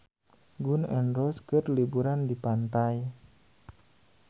Gun N Roses keur liburan di pantai